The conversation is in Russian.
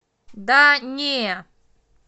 да не